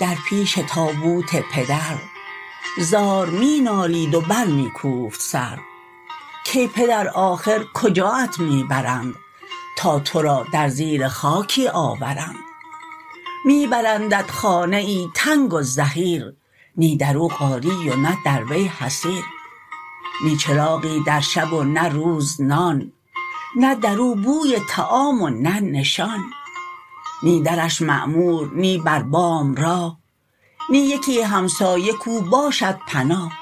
در پیش تابوت پدر زار می نالید و بر می کوفت سر کای پدر آخر کجاات می برند تا تو را در زیر خاکی آورند می برندت خانه ای تنگ و زحیر نی درو قالی و نه در وی حصیر نی چراغی در شب و نه روز نان نه درو بوی طعام و نه نشان نی درش معمور نی بر بام راه نی یکی همسایه کو باشد پناه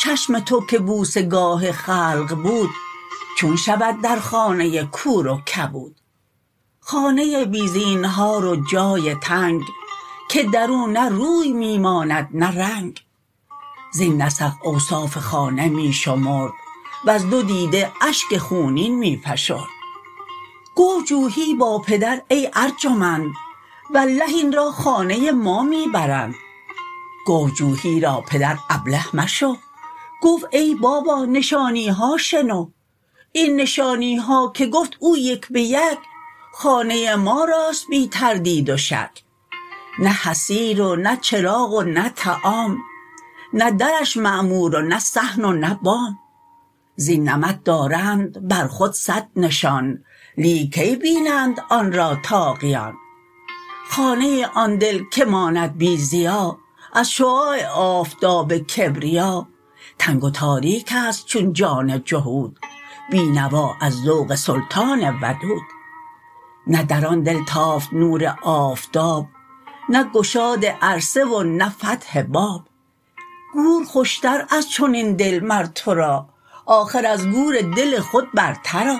چشم تو که بوسه گاه خلق بود چون شود در خانه کور و کبود خانه بی زینهار و جای تنگ که درو نه روی می ماند نه رنگ زین نسق اوصاف خانه می شمرد وز دو دیده اشک خونین می فشرد گفت جوحی با پدر ای ارجمند والله این را خانه ما می برند گفت جوحی را پدر ابله مشو گفت ای بابا نشانیها شنو این نشانیها که گفت او یک بیک خانه ما راست بی تردید و شک نه حصیر و نه چراغ و نه طعام نه درش معمور و نه صحن و نه بام زین نمط دارند بر خود صد نشان لیک کی بینند آن را طاغیان خانه آن دل که ماند بی ضیا از شعاع آفتاب کبریا تنگ و تاریکست چون جان جهود بی نوا از ذوق سلطان ودود نه در آن دل تافت نور آفتاب نه گشاد عرصه و نه فتح باب گور خوشتر از چنین دل مر تو را آخر از گور دل خود برتر آ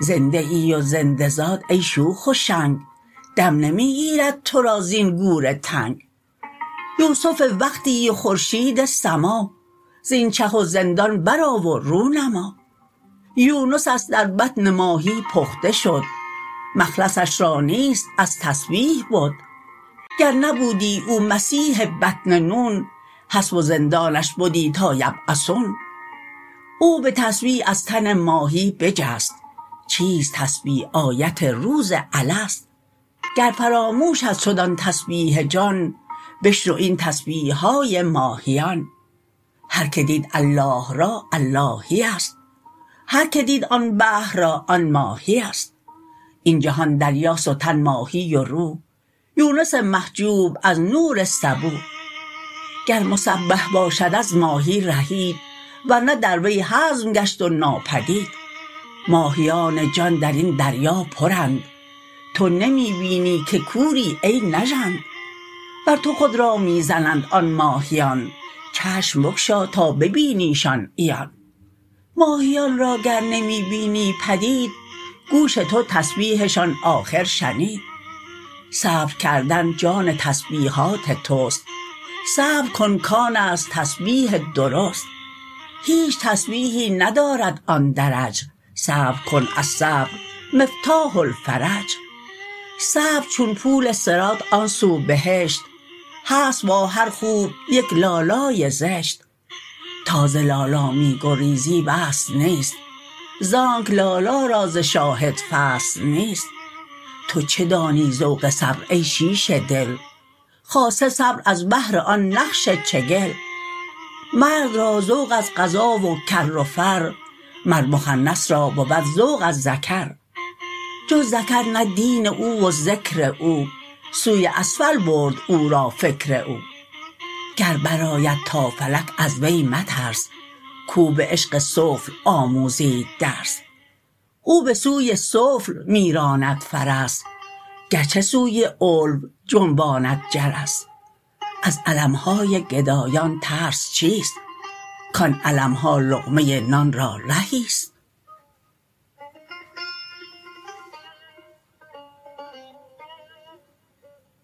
زنده ای و زنده زاد ای شوخ و شنگ دم نمی گیرد تو را زین گور تنگ یوسف وقتی و خورشید سما زین چه و زندان بر آ و رو نما یونست در بطن ماهی پخته شد مخلصش را نیست از تسبیح بد گر نبودی او مسبح بطن نون حبس و زندانش بدی تا یبعثون او بتسبیح از تن ماهی بجست چیست تسبیح آیت روز الست گر فراموشت شد آن تسبیح جان بشنو این تسبیحهای ماهیان هر که دید الله را اللهیست هر که دید آن بحر را آن ماهیست این جهان دریاست و تن ماهی و روح یونس محجوب از نور صبوح گر مسبح باشد از ماهی رهید ورنه در وی هضم گشت و ناپدید ماهیان جان درین دریا پرند تو نمی بینی که کوری ای نژند بر تو خود را می زنند آن ماهیان چشم بگشا تا ببینیشان عیان ماهیان را گر نمی بینی پدید گوش تو تسبیحشان آخر شنید صبر کردن جان تسبیحات تست صبر کن کانست تسبیح درست هیچ تسبیحی ندارد آن درج صبر کن الصبر مفتاح الفرج صبر چون پول صراط آن سو بهشت هست با هر خوب یک لالای زشت تا ز لالا می گریزی وصل نیست زانک لالا را ز شاهد فصل نیست تو چه دانی ذوق صبر ای شیشه دل خاصه صبر از بهر آن نقش چگل مرد را ذوق از غزا و کر و فر مر مخنث را بود ذوق از ذکر جز ذکر نه دین او و ذکر او سوی اسفل برد او را فکر او گر برآید تا فلک از وی مترس کو به عشق سفل آموزید درس او به سوی سفل می راند فرس گرچه سوی علو جنباند جرس از علمهای گدایان ترس چیست کان علمها لقمه نان را رهیست